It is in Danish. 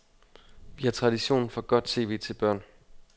Vi har tradition for godt tv til børn.